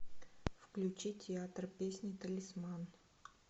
включи театр песни талисман